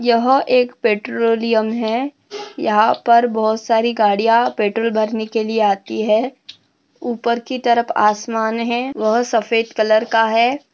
यह एक पेट्रोलियम है यहाँ पर बहुत सारी गाड़िया पेट्रोल भरने के लिए आती है उपर की तरफ आसमान है वह सफ़ेद कलर का है।